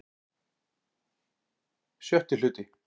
VI Hluti